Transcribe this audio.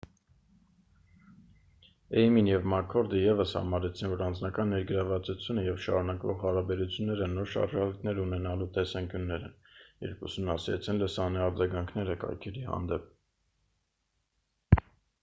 «էյմին և մաքքորդը ևս համարեցին որ «անձնական ներգրավվածությունը» և «շարունակվող հարաբերությունները» նոր շարժառիթներ ունենանալու տեսանկյուններ են 1998 թ. երբ ուսումնասիրեցին լսարանի արձագանքները կայքերի հանդեպ: